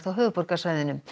höfuðborgarsvæðinu